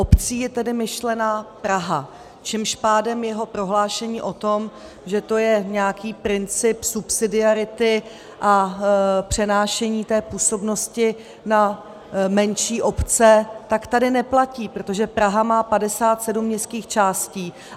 Obcí je tedy myšlena Praha, čímž pádem jeho prohlášení o tom, že to je nějaký princip subsidiarity a přenášení té působnosti na menší obce, tak tady neplatí, protože Praha má 57 městských částí.